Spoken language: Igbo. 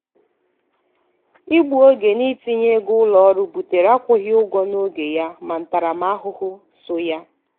igbu oge n’itinye ego ụlọọrụ butere akwụghị ụgwọ n’oge ya na ntaramahụhụ so ya.